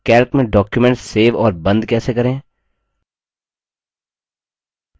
calc में document save और बंद कैसे करें